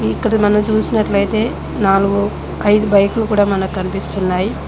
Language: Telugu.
ఇక్కడ మనం చూసినట్లయితే నాలుగు ఐదు బైక్లు కూడా మనకు కనిపిస్తున్నాయి.